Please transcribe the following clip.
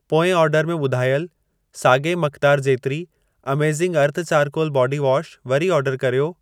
पोएं ऑर्डर में ॿुधायल साॻिए मक़दार जेतिरी amazing earth charcoal body wash वरी ऑर्डर कर्यो।